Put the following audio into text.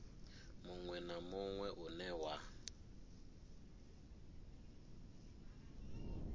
munwe na munwe une wa